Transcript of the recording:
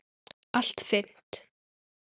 Allt fyrnt.